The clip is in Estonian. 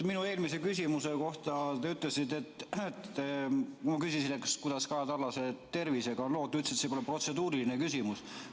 Minu eelmise küsimuse kohta te ütlesite – ma küsisin, kuidas Kaja Kallase tervisega on lood –, et see pole protseduuriline küsimus.